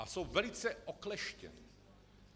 A jsou velice okleštěna.